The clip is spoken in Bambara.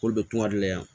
K'olu bɛ kuma de yan